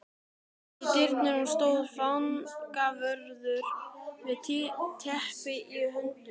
Í dyrunum stóð fangavörður með teppi í höndunum.